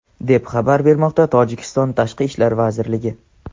deb xabar bermoqda Tojikiston Tashqi ishlar vazirligi.